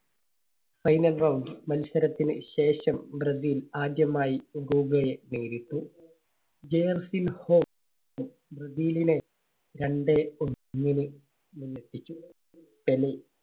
final round മത്സരത്തിന് ശേഷം Brazil ആദ്യമായി ഉറുഗ്വേയെ നേരിട്ടു. ജെയർസിൻഹോ ബ്രസീലിനെ രണ്ടേ ഒന്നിന് മുന്നിലെത്തിച്ചു. പെലെ